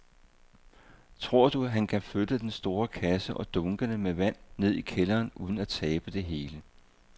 Tror du, at han kan flytte den store kasse og dunkene med vand ned i kælderen uden at tabe det hele?